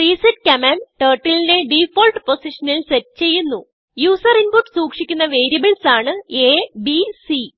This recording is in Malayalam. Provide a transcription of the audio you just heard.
resetകമാൻഡ് turtleനെ ഡിഫാൾട്ട് പൊസിഷനിൽ സെറ്റ് ചെയ്യുന്നു യൂസർ ഇൻപുട്ട് സൂക്ഷിക്കുന്ന വേരിയബിൾസാണ് a b c